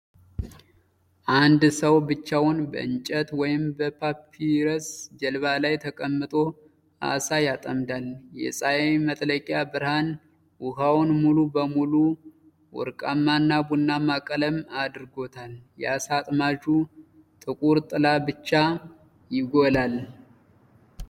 አንድ ሰው ብቻውን በእንጨት ወይም በፓፒረስ ጀልባ ላይ ተቀምጦ ዓሣ ያጠምዳል። የፀሐይ መጥለቂያ ብርሃን ውሃውን ሙሉ በሙሉ ወርቃማና ቡናማ ቀለም አድርጎታል። የዓሣ አጥማጁ ጥቁር ጥላ ብቻ ይጎላል።